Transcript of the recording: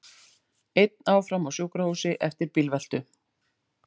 Einn áfram á sjúkrahúsi eftir bílveltu